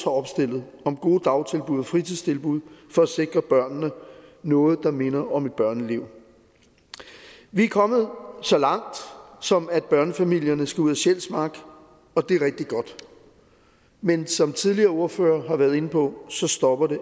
opstillet om gode dagtilbud og fritidstilbud for at sikre børnene noget der minder om et børneliv vi er kommet så langt som at børnefamilierne skal ud af sjælsmark og det er rigtig godt men som tidligere ordførere har været inde på stopper det